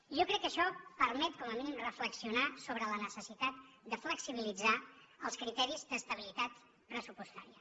jo crec que això permet com a mínim reflexionar sobre la necessitat de flexibilitzar els criteris d’estabilitat pressupostària